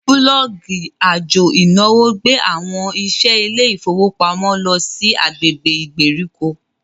bulọọgi àjò ìnáwó gbé àwọn iṣẹ ilé ifowopamọ ló sì agbègbè ìgbèríko.